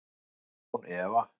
Án efa